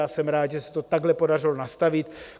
A jsem rád, že se to takhle podařilo nastavit.